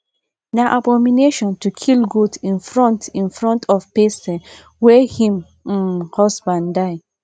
na abomination to kill goat in front in front of person wey him um husband die um